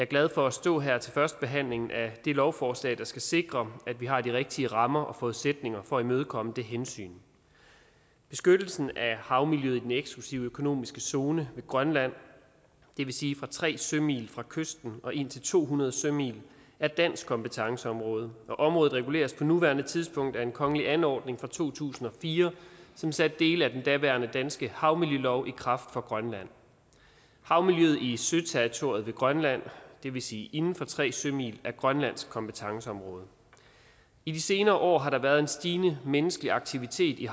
glad for at stå her til førstebehandlingen af det lovforslag der skal sikre at vi har de rigtige rammer og forudsætninger for at imødekomme det hensyn beskyttelsen af havmiljøet i den eksklusive økonomiske zone ved grønland det vil sige fra tre sømil fra kysten og indtil to hundrede sømil er dansk kompetenceområde og området reguleres på nuværende tidspunkt af en kongelig anordning fra to tusind og fire som satte dele af den daværende danske havmiljølov i kraft for grønland havmiljøet i søterritoriet ved grønland det vil sige inden for tre sømil er grønlandsk kompetenceområde i de senere år har der været en stigende menneskelig aktivitet i